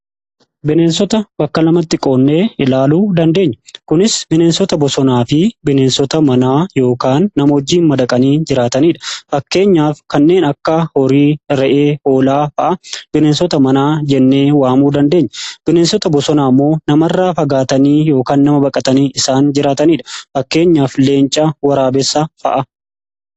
Bineensota bakka namatti qoonnee ilaaluu dandeenya kunis bineensota bosonaa fi bineensota manaa yookan nama wajjiin madaqanii jiraataniidha fakkeenyaaf kanneen akka horii ,re'ee, hoolaa fa'a bineensota manaa jennee waamuu dandeenya. Bineensota bosonaa immoo nama irra fagaatanii yookaan nama baqatanii isaan jiraataniidha fakkeenyaaf leenca fi waraabessa fa'a.